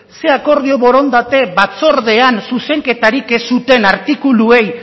zer akordio borondate batzordean zuzenketarik ez zutena artikuluei